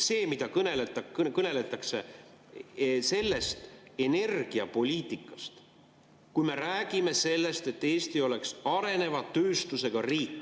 See, mida kõneldakse energiapoliitikast, kui me räägime sellest, et Eesti oleks areneva tööstusega riik …